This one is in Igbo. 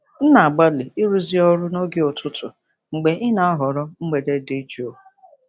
M na-agbalị ịrụzu ọrụ noge ụtụtụ mgbe ị na-ahọrọ mgbede dị jụụ.